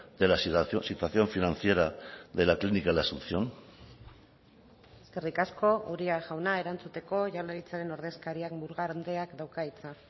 de la situación financiera de la clínica la asunción eskerrik asko uria jauna erantzuteko jaurlaritzaren ordezkariak murga andreak dauka hitza